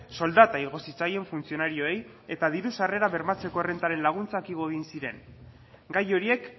soldata igo zitzaien funtzionarioei eta diru sarrerak bermatzeko errentaren laguntzak igo egin ziren gai horiek